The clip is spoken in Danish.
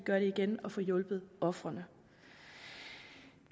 gør det igen og får hjulpet ofrene